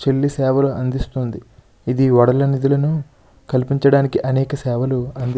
చిన్న సేవలను అందిస్తుంది. ఇది వడల నిధులను కల్పించడానికి అనేక సేవలు అంది --